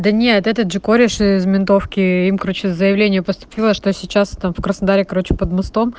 да нет этот же корешь из ментовки им короче заявление поступило что сейчас там в краснодаре короче под мостом